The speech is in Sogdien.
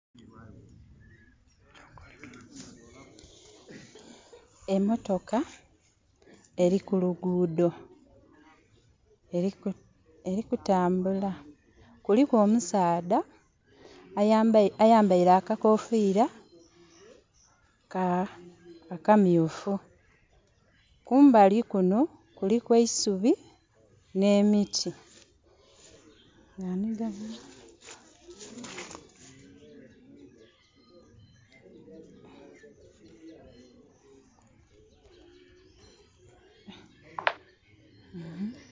Emotoka eri kulugudho erikutambula. Kuliku omusaadha ayambeire akakofira akamyufu. Kumbali kuno kuliku eisubi ne miti.